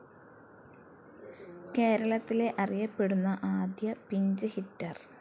കേരളത്തിലെ അറിയപ്പെടുന്ന ആദ്യ പിഞ്ച്‌ ഹിറ്റർ.